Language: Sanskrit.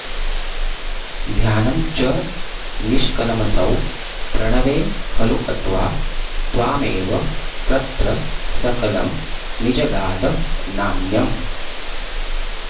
ध्यानं च निष्कलमसौ प्रणवे खलूक्त्वा त्वामेव तत्र सकलं निजगाद नान्यम्